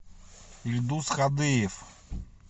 ильдус хадыев